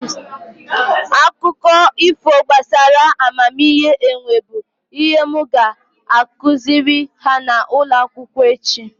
Akụkọ ifo gbasara amamihe enwe bụ ihe m ga-akụziri ha n'ụlọ akwụkwọ echi